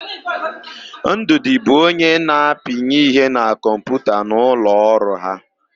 Ndụdị bụ onye na-apinye ihe na kọmputa n'ụlọ ọrụ ha.